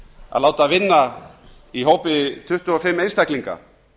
að láta vinna í hópi tuttugu og fimm einstaklinga